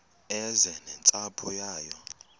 eze nentsapho yayo